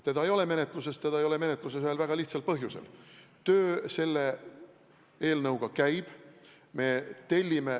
Seda ei ole menetluses, ja seda ühel väga lihtsal põhjusel: töö selle eelnõu kallal käib.